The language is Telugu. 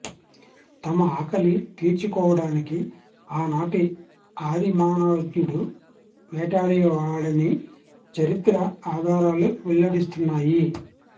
తమ ఆకలి తీర్చుకోవడానికి ఆనాటి ఆది మానవ్ఞడు వేటాడేవాడని చరిత్ర ఆధారాలు వెల్లడిస్తున్నాయి